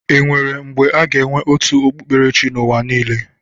Enwere mgbe aga enwe otu okpukperechi n'ụwa niile?